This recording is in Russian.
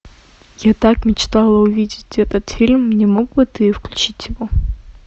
я так мечтала увидеть этот фильм не мог бы ты включить его